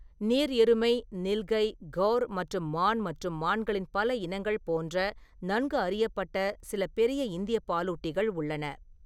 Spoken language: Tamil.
நீர் எருமை, நில்கை, கௌர் மற்றும் மான் மற்றும் மான்களின் பல இனங்கள் போன்ற நன்கு அறியப்பட்ட சில பெரிய இந்திய பாலூட்டிகள் உள்ளன.